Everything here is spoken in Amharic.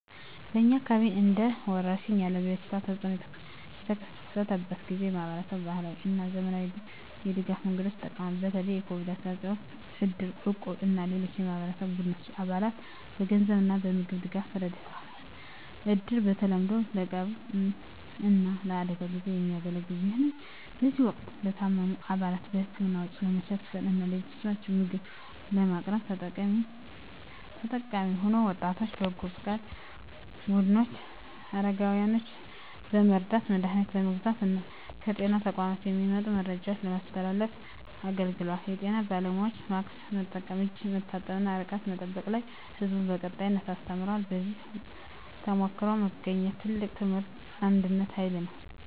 በእኛ አካባቢ እንደ ወረርሽኝ ያለ የበሽታ ተፅእኖ በተከሰተበት ጊዜ፣ ማኅበረሰቡ በባህላዊ እና በዘመናዊ የድጋፍ መንገዶች ይጠቀማል። በተለይ የCOVID-19 ወቅት እድር፣ እቁብ እና ሌሎች የማኅበራዊ ቡድኖች አባላትን በገንዘብ እና በምግብ ድጋፍ ረድተዋል። እድር በተለምዶ ለቀብር እና ለአደጋ ጊዜ የሚያገለግል ቢሆንም፣ በዚህ ወቅት ለታመሙ አባላት የሕክምና ወጪ ለመሸፈን እና ለቤተሰቦቻቸው ምግብ ለማቅረብ ተጠቃሚ ሆኗል። የወጣቶች በጎ ፈቃድ ቡድኖች አረጋውያንን በመርዳት፣ መድሀኒት በመግዛት እና ከጤና ተቋማት የሚመጡ መረጃዎችን በማስተላለፍ አገልግለዋል። የጤና ባለሙያዎችም በማስክ መጠቀም፣ እጅ መታጠብ እና ርቀት መጠበቅ ላይ ሕዝቡን በቀጣይነት አስተምረዋል። ከዚህ ተሞክሮ የተገኘው ትልቁ ትምህርት የአንድነት ኃይል ነው።